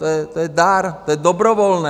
To je dar, to je dobrovolné.